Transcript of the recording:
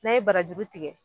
N'an ye barajuru tigɛ